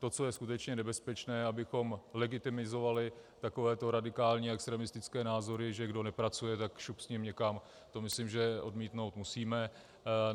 To, co je skutečně nebezpečné, abychom legitimizovali takovéto radikální extremistické názory, že kdo nepracuje, tak šup s ním někam, to myslím, že odmítnout musíme.